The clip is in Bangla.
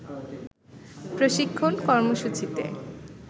প্রশিক্ষণ কর্মসূচিতে